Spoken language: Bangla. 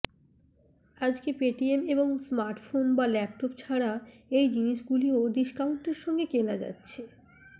আজকে পেটিএম মলে স্মার্টফোন বা ল্যাপটপ ছাড়া এই জিনিস গুলিও ডিস্কাউন্টের সঙ্গে কেনা যাচ্ছে